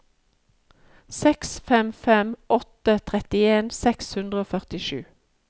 seks fem fem åtte trettien seks hundre og førtisju